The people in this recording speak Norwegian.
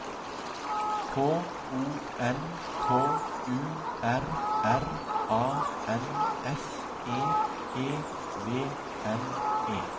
K O N K U R R A N S E E V N E